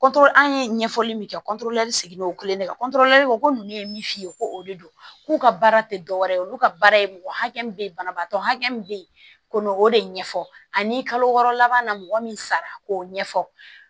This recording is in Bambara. an ye ɲɛfɔli min kɛ sigilen y'o kelen de ye ko ninnu ye min f'i ye ko o de don k'u ka baara tɛ dɔ wɛrɛ ye olu ka baara ye mɔgɔ hakɛ min bɛ yen banabaatɔ min bɛ yen ko n'o de ɲɛfɔ ani kalo wɔɔrɔ laban na mɔgɔ min sara k'o ɲɛfɔ